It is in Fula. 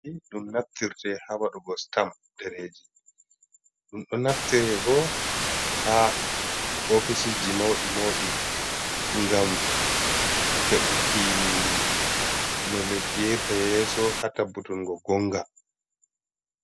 Ɗum naftirte haa waɗugo sitam ɗereeji, ɗum ɗo naftire bo, haa ofisisji mawɗi mawɗi, ngam heɓuki no leddi yahirta yeeso, haa tabbutungo goonga.